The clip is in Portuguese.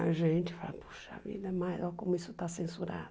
A gente fala, poxa vida, mas olha como isso está censurado.